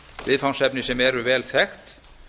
viðfangsefni sem eru vel þekkt